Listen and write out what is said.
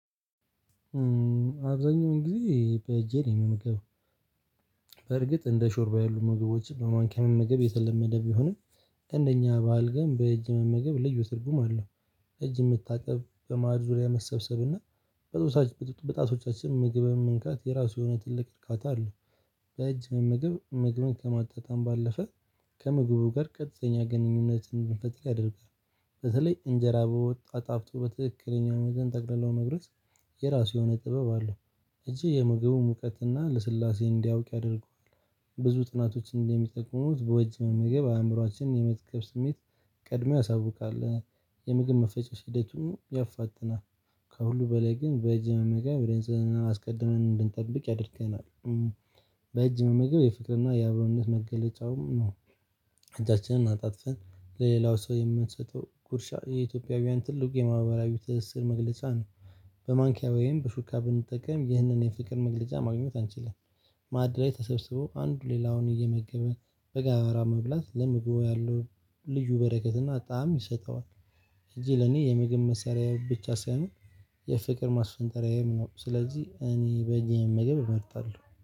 አብዛኛውን ጊዜ በእጄ ነው የምመገበው። በርግጥ እንደ ሾርባ ያሉ ምግቦች በማንኪያ መመገብ የተለመደ ቢሆንም እንደኛ በሀል በእጅ መመገብ ልዩ ትርጉም አለው። እጅ መታጠብ በማዕድ ዙሪያ መሰብሰብና በጦሳህ በጣቶቻችን ምግብን መንካት የራሱ የሆነ ትልቅ እርካታ አለው። በእጅ መመገብ መግብን ከማጣጣም ባለፈ ከመግቡ ጋር ቀጥተኛ ግንኙነትን እንድንፈጥር ያደርጋል። በተለይ እንጀራ በወጥ አጣፍጦ በትክክለኛው ሚዘን ጠቅልሎ መጉረስ የራሱ የሆነ ጥበብ አለው። እንጂ የምግቡ ሙቀትና ልስላሴ እንዲያውቅ ያደርገዋል። ብዙ ጥናቶች እንደሚጠቅሙት በእጅ መመገብ አእምሮአችንን የመጥጠብ ስሜት ቀድሞ ያሳውቃል። የምግብ መፈጨት ሂደቱን ያፋጥናል። ከሁሉ በላይ ግን በእጅ መመገብ ነጽህና አስቀድመን እንድንጠብቅ ያድርገናል። በእጅ መመገብ የፍቅርና የአብሮነት መገለጫውም ነው። እጃችንን አጣጥፈን ለሌላው ሰው የምንሰጠው ጉርሻ የኢትዮጵያውያን ትልቅ የማህበራዊ ትስስር መግለጫ ነው። በማንኪያ ወይም በሹካ ብንጠቀም ይህንን የፍቅር መግለጫ ማግኘት አንችልም። ማዕድ ላይ ተሰብስቦ አንዱ ሌላውን እየመገበ በጋራ መብላት ለምግቡ ያለው ልዩ በረከት እና ጣም ይሰጠዋል። እጄ ለኔ የምግብ መሳሪያ ብቻ ሳይሆን የፍቅር ማስፈንጠሪያዬም ነው ስለዚህ እኔ በእጄ መመገብ እመርጣለሁ